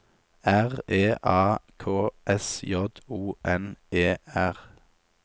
R E A K S J O N E R